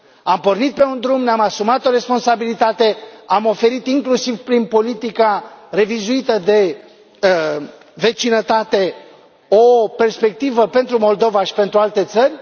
Am pornit pe un drum, ne am asumat o responsabilitate, am oferit inclusiv prin politica revizuită de vecinătate o perspectivă pentru Moldova și pentru alte țări.